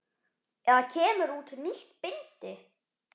Eða kemur út nýtt bindi?